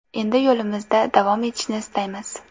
Endi yo‘limizda davom etishni istaymiz.